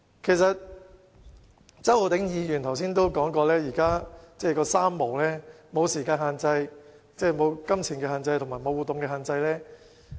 正如周浩鼎議員剛才所說，現時的情況是"三無"——無時間限制、無金錢限制和無活動限制。